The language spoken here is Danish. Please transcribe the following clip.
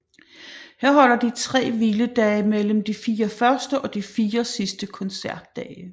Her holder de tre hviledage mellem de 4 første og de 4 sidste koncertdage